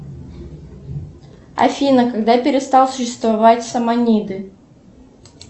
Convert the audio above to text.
афина когда перестал существовать саманиды